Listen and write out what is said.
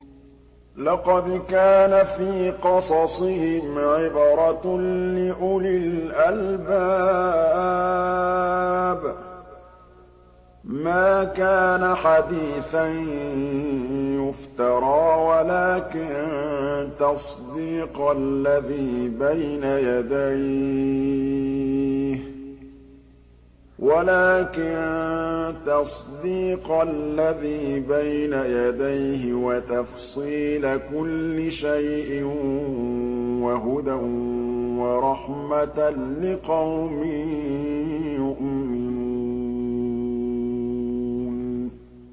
لَقَدْ كَانَ فِي قَصَصِهِمْ عِبْرَةٌ لِّأُولِي الْأَلْبَابِ ۗ مَا كَانَ حَدِيثًا يُفْتَرَىٰ وَلَٰكِن تَصْدِيقَ الَّذِي بَيْنَ يَدَيْهِ وَتَفْصِيلَ كُلِّ شَيْءٍ وَهُدًى وَرَحْمَةً لِّقَوْمٍ يُؤْمِنُونَ